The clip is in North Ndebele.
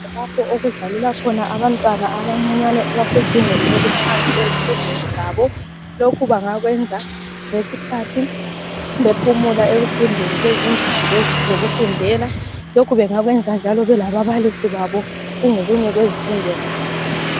Lapho okudlalela khona abantwana abancane abesezingeni eliphansi ezifundweni zabo. Lokhu bangakwenza ngesikhathi bephumula ezindlini zokufundela kumbe belababalisi ezifundweni zabo.